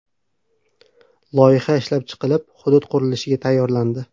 Loyiha ishlab chiqilib, hudud qurilishga tayyorlandi.